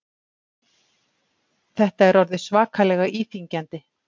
Þetta er orðið svakalega íþyngjandi